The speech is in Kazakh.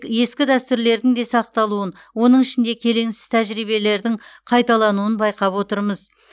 ескі дәстүрлердің де сақталуын оның ішінде келеңсіз тәжірибелердің қайталануын байқап отырмыз